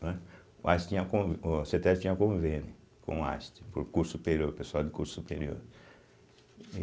Né, o Einstein tinha conv, o cêtésbe tinha convênio com o Einstein, para o curso superior, pessoal de curso superior.